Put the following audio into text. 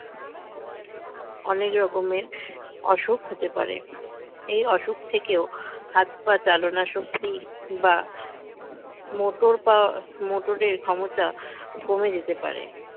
অনেক রকমের অসুখ হতে পারে এই অসুখ থেকেও হাত পা চালনাশক্তি বা motor পা motor এর ক্ষমতা কমে যেতে পারে